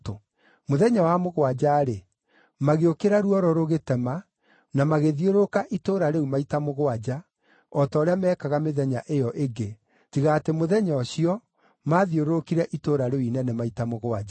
Mũthenya wa mũgwanja-rĩ, magĩũkĩra ruoro rũgĩtema na magĩthiũrũrũka itũũra rĩu maita mũgwanja o ta ũrĩa meekaga mĩthenya ĩyo ĩngĩ, tiga atĩ mũthenya ũcio, maathiũrũrũkire itũũra rĩu inene maita mũgwanja.